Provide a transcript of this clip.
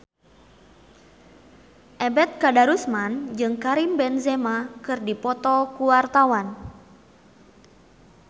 Ebet Kadarusman jeung Karim Benzema keur dipoto ku wartawan